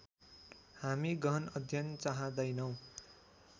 हामी गहन अध्ययन चाहदैनौँ